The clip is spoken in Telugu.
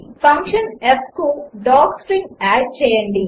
ఫంక్షన్ fకు డాక్స్ట్రింగ్ ఆడ్ చేయండి